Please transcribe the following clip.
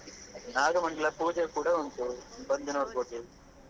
ನಾಗಮಂಡಲ ಪೂಜೆ ಕೂಡ ಉಂಟು ಬಂದು ನೋಡ್ಬೋದು.